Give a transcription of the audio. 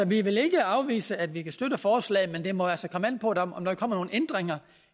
vi vil ikke afvise at vi kan støtte forslaget men det må altså komme an på om der kommer nogle ændringer